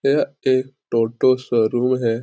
यह एक टोटो शोरूम है।